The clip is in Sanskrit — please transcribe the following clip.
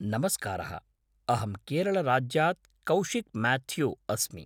नमस्कारः, अहं केरलराज्यात् कौशिक् माथ्यू अस्मि।